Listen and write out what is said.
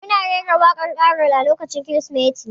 Mun rera waƙan karol a lokacin kirismeti